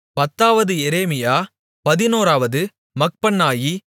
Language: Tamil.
பத்தாவது எரேமியா பதினோராவது மக்பன்னாயி